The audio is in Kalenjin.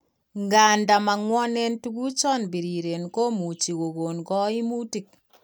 Ng'anda mang'wanen tuguchan biriren komuche kogon kaimutik